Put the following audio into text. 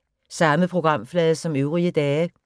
Samme programflade som øvrige dage